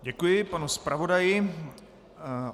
Děkuji panu zpravodaji.